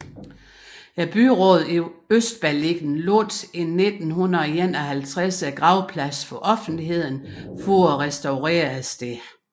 Byrådet i Østberlin lukkede i 1951 gravpladsen for offentligheden for at restaurere stedet